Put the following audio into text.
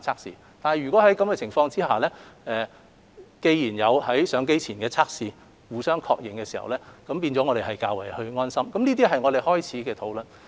儘管如此，先要有上機前互相確認的檢測，這做法能令我們較為安心，也是我們起始的討論重點。